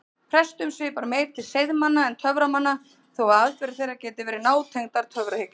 Prestum svipar meir til seiðmanna en töframanna þó að aðferðir þeirra geti verið nátengdar töfrahyggju.